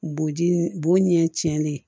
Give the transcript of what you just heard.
Bo ji ni bo ɲɛ tiɲɛni